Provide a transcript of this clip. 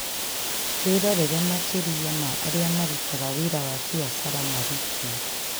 Wĩrorere makĩria ma arĩa marutaga wĩra wa biacara marĩ kuo